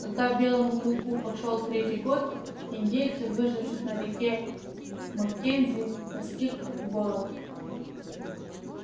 когда белому клыку пошёл третий год индейцев выживших на реке маккензи постиг голод